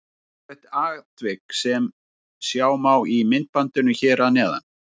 Ótrúlegt atvik sem sjá má í myndbandinu hér að neðan.